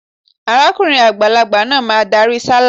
Arákùrin àgbàlagbà máa darí sálà.